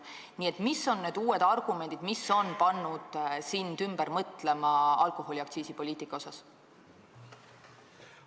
Nii et mis on need uued argumendid, mis on pannud sind alkoholiaktsiisipoliitika osas ümber mõtlema?